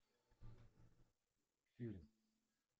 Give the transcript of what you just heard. фильм